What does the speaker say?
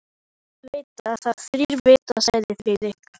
Þjóð veit þá þrír vita sagði Friðrik.